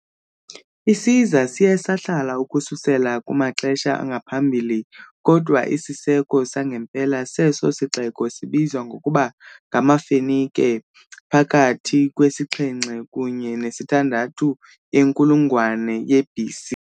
Isiza siye sahlala ukususela kumaxesha angaphambili, kodwa isiseko sangempela seso sixeko sibizwa ngokuba ngamaFenike phakathi kwe -7 kunye ne -6 yenkulungwane ye-BC .